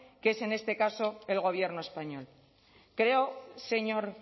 que es en este caso el gobierno español creo señor